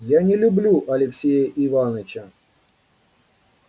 я не люблю алексея иваныча